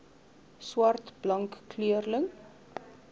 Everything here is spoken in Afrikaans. swart blank kleurling